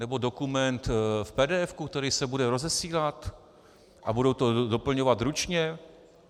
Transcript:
Nebo dokument v pdf, který se bude rozesílat a budou ho doplňovat ručně?